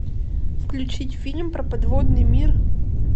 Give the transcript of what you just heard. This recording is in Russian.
включить фильм про подводный мир